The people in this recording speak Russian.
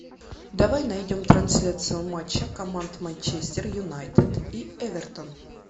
давай найдем трансляцию матча команд манчестер юнайтед и эвертон